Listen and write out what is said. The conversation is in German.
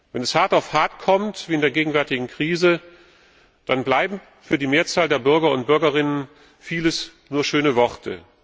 Wenn es hart auf hart kommt wie in der gegenwärtigen Krise dann bleibt für die Mehrzahl der Bürgerinnen und Bürger vieles nur schöne Worte.